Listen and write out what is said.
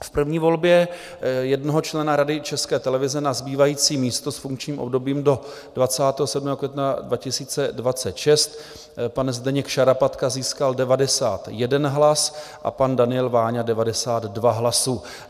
V první volbě jednoho člena Rady České televize na zbývající místo s funkčním obdobím do 27. května 2026 pan Zdeněk Šarapatka získal 91 hlasů a pan Daniel Váňa 92 hlasů.